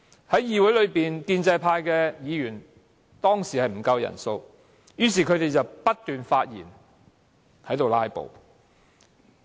當時議會內建制派議員人數不足，他們便不斷發言"拉布"。